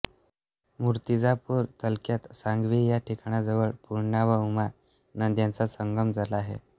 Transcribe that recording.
मूर्तिजापूर तालुक्यात सांगवी या ठिकाणाजवळ पूर्णा व उमा नद्यांचा संगम झाला आहे